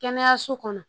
Kɛnɛyaso kɔnɔ